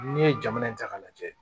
N'i ye jamana in ta k'a lajɛ